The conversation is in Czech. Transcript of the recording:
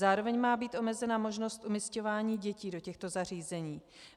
Zároveň má být omezena možnost umisťování dětí do těchto zařízení.